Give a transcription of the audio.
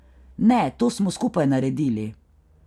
Ne, to smo skupaj naredili.